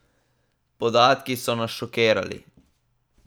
Podatki so nas šokirali.